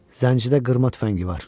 Zəncidə qırma tüfəngi var.